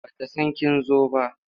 Ba ta san kin zo ba.